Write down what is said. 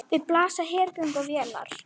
Við blasa hergögn og vélar.